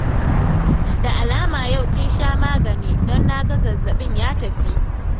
Da alama yau kin sha magani, don na ga zazzabin ya tafi